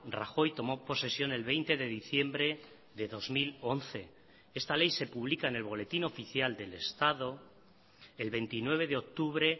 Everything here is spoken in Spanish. rajoy tomó posesión el veinte de diciembre de dos mil once esta ley se pública en el boletín oficial del estado el veintinueve de octubre